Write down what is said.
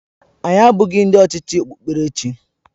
Anyị abụghị ndị ọchịchị okpukperechi.